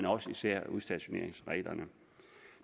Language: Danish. og især udstationeringsreglerne